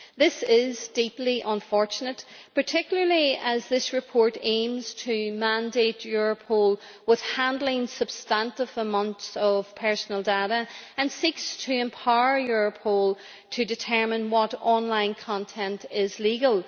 This is deeply unfortunate, particularly as this report aims to mandate Europol with handling substantive amounts of personal data and seeks to empower Europol to determine what online content is legal.